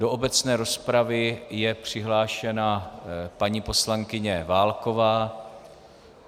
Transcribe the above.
Do obecné rozpravy je přihlášena paní poslankyně Válková.